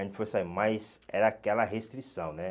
A gente foi sair, mas era aquela restrição, né?